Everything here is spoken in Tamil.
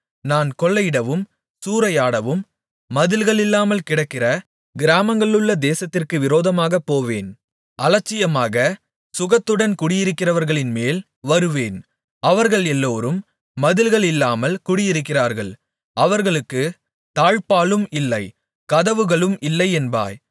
நான் கொள்ளையிடவும் சூறையாடவும் மதில்களில்லாமல் கிடக்கிற கிராமங்களுள்ள தேசத்திற்கு விரோதமாகப்போவேன் அலட்சியமாக சுகத்துடன் குடியிருக்கிறவர்களின்மேல் வருவேன் அவர்கள் எல்லோரும் மதில்களில்லாமல் குடியிருக்கிறார்கள் அவர்களுக்குத் தாழ்ப்பாளும் இல்லை கதவுகளும் இல்லை என்பாய்